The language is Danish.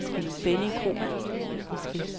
Benny Kromann